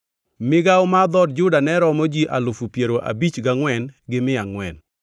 Migawo mar dhood Juda ne romo ji alufu piero abich gangʼwen gi mia angʼwen (74,600).